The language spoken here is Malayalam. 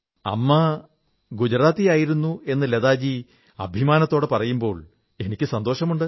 അമ്മ ഗുജറാത്തിയായിരുന്നു എന്ന് ലതാജി അഭിമാനത്തോടെ പറയുമ്പോൾ എനിക്കു സന്തോഷമുണ്ട്